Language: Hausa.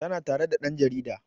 Tana tare da ɗan jarida